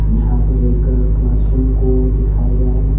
यहां पर एक क्लास रूम को दिखाया गया है।